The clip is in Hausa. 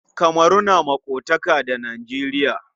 Kamaru tana maƙotaka da Nijeriya.